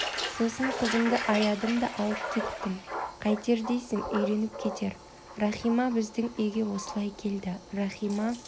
сосын қызымды аядым да алып кеттім қайтер дейсің үйреніп кетер рахима біздің үйге осылай келді рахима